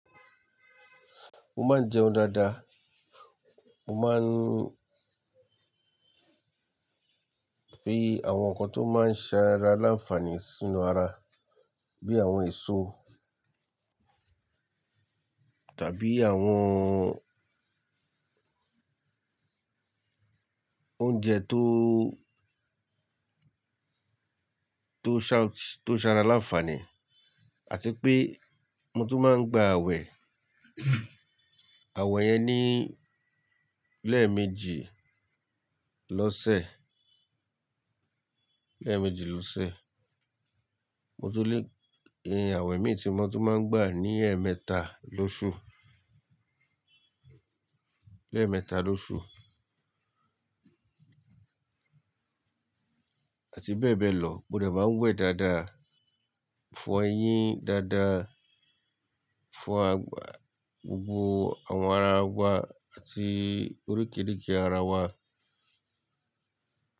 Mo máa ń jẹun dáadáa, mo máa ń pè àwọn nǹkan tó máa ń ṣẹ ara láǹfààní sínú ara bíi àwọn èso tàbí àwọn oúnjẹ tó, tó ṣa, tó ṣ'ara láǹfààní àti pé mo tún máa ń gba awẹ. Awẹ yẹn ni lẹ́ẹ̀mejì lọ́sẹ̀, lẹ́ẹ̀mejì lọ́sẹ̀. Mo tún le, awẹ mi tí mo tún máa ń gbà ní ẹ̀ẹ̀mẹ́ta lóṣù, lẹ́ẹ̀mẹ́ta lóṣù. Àti bẹ́ẹ̀ bẹ́ẹ̀ lọ. Mo dà má ń wẹ̀ dáadáa, fọ eyín dáadáa, fọ àgbà gbogbo àwọn ara wa àti oríkeeríke ara wa.